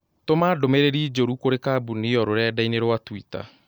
tũma ndũmīrīri njũru kũrĩĩ kambuni ĩyo rũrenda-inī rũa tũita